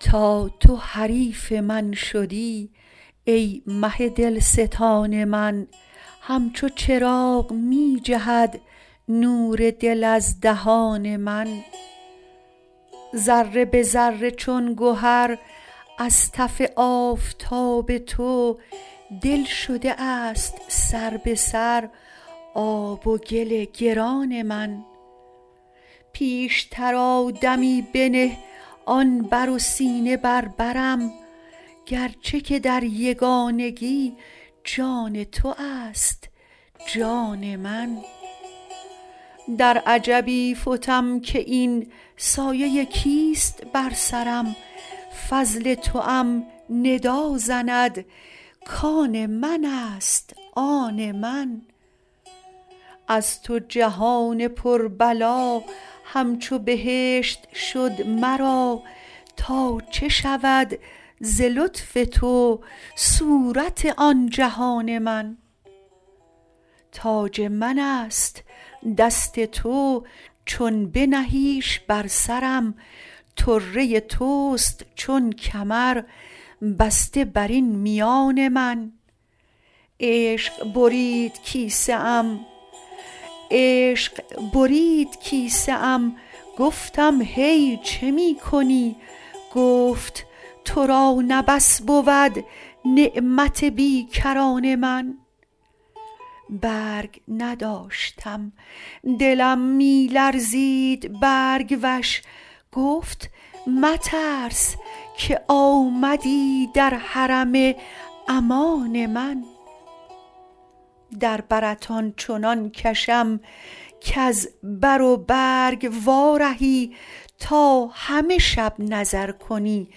تا تو حریف من شدی ای مه دلستان من همچو چراغ می جهد نور دل از دهان من ذره به ذره چون گهر از تف آفتاب تو دل شده است سر به سر آب و گل گران من پیشتر آ دمی بنه آن بر و سینه بر برم گرچه که در یگانگی جان تو است جان من در عجبی فتم که این سایه کیست بر سرم فضل توام ندا زند کان من است آن من از تو جهان پربلا همچو بهشت شد مرا تا چه شود ز لطف تو صورت آن جهان من تاج من است دست تو چون بنهیش بر سرم طره توست چون کمر بسته بر این میان من عشق برید کیسه ام گفتم هی چه می کنی گفت تو را نه بس بود نعمت بی کران من برگ نداشتم دلم می لرزید برگ وش گفت مترس کآمدی در حرم امان من در برت آن چنان کشم کز بر و برگ وارهی تا همه شب نظر کنی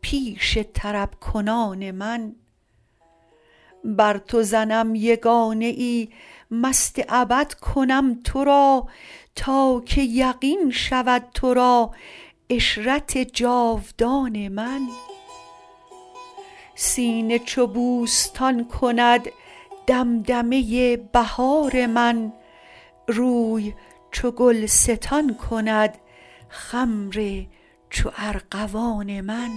پیش طرب کنان من بر تو زنم یگانه ای مست ابد کنم تو را تا که یقین شود تو را عشرت جاودان من سینه چو بوستان کند دمدمه بهار من روی چو گلستان کند خمر چو ارغوان من